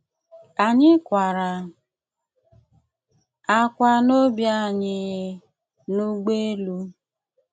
Anyị̀ kwàrà ákwá n’ọ́bì anyị n’ụ̀gbọ̀elù.